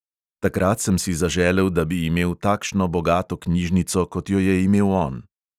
Takrat sem si zaželel, da bi imel takšno bogato knjižnico, kot jo je imel on.